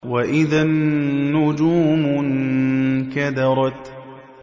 وَإِذَا النُّجُومُ انكَدَرَتْ